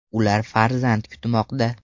Ular farzand kutmoqda.